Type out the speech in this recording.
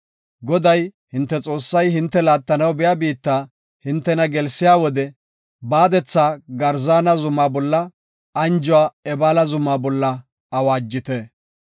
Goday, hinte Xoossay hinte laattanaw biya biitta hintena gelsiya wode, baadetha Garzaana zuma bolla, anjuwa Ebaala zuma bolla awaajite.